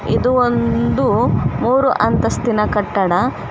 ಇದು ಒಂದು ಮೂರು ಅಂತಸ್ತಿನ ಕಟ್ಟಡ.